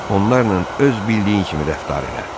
Onlarla öz bildiyin kimi rəftar elə.